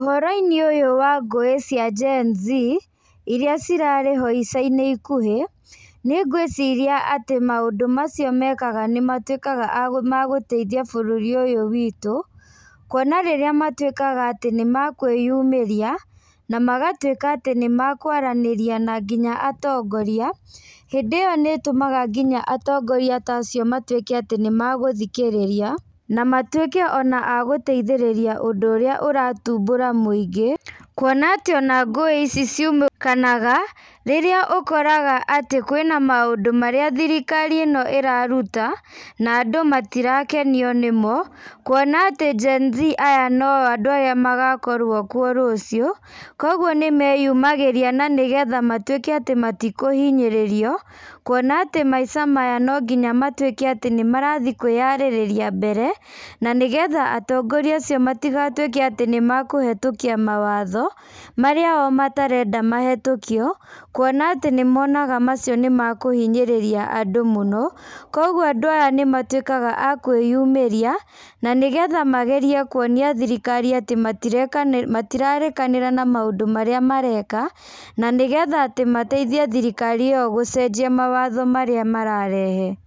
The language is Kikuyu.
Ũhoro-inĩ ũyũ wa ngũĩ cia Gen-Z iria cirarĩho ica-inĩ ikuhĩ niĩ ngwĩciria atĩ maũndũ macio mekaga nĩmatuĩkaga magũteithia bũrũri ũyũ witũ, kuona rĩrĩa matuĩkaga atĩ nĩmakwĩyumiría, na magatuĩka atĩ nĩmakwaranĩria nginya na atongoria , hĩndĩ ĩyo nĩ itũmaga nginya atongoria ta acio matuĩke atĩ nĩmagũthikĩrĩria, na matuika a gũteithĩrĩria ũndũ ũrĩa ũrathumbũra mũingĩ kuona atĩ ona ngũĩ ici ciumũkanaga rĩrĩa ũkoraga atĩ kwĩna maũndũ marĩa thirikari ĩno iraruta, na andũ matirakenio nĩmo, kuona atĩ Gen-Z aya no andũ arĩa magakorwo kuo rũciũ. Koguo nĩmeyumagĩria na nĩgetha matuĩke atĩ matikũhinyĩrĩrio. Kuona atĩ maica maya nonginya matuĩke atĩ nĩmarathiĩ kwĩyarĩrĩria mbere, na nĩgetha atongoria acio matigatuĩke atĩ nĩmaũhĩtũkia mawatho marĩa o matarenda mahĩtũkio. Kuona atĩ nĩmonaga atĩ macio nĩmakũhinyĩrĩria andũ mũno. Koguo andũ aya nĩmatuikaga a kwĩyumĩria na nĩgetha magerie kuonia thirikari atĩ matirarĩkanĩra na maũndũ marĩa mareka na nĩgetha atĩ mateithie thirikari ĩyo gũcenjia mawatho marĩa mararehe.